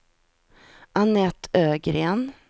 Anette Ögren